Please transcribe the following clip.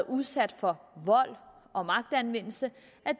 udsat for vold og magtanvendelse